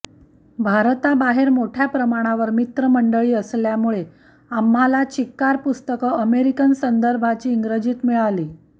भारताबाहेर मोठ्या प्रमाणावर मित्रमंडळी असल्यामुळे आम्हाला चिक्कार पुस्तकं अमेरिकन संदर्भाची इंग्रजीत मिळाली